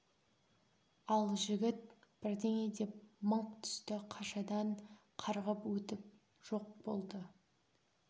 ал жігіт бірдеңе деп мыңқ түсті қашадан қарғып өтіп жоқ болды